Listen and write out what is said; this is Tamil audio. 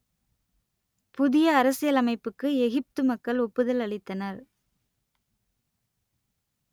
புதிய அரசியலமைப்புக்கு எகிப்து மக்கள் ஒப்புதல் அளித்தனர்